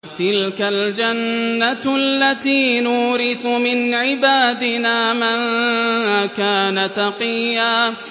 تِلْكَ الْجَنَّةُ الَّتِي نُورِثُ مِنْ عِبَادِنَا مَن كَانَ تَقِيًّا